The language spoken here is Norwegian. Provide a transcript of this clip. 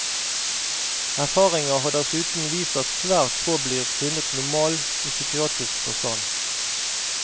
Erfaringer har dessuten vist at svært få blir funnet normal i psykiatrisk forstand.